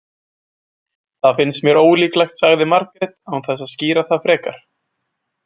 Það finnst mér ólíklegt, sagði Margrét án þess að skýra það frekar.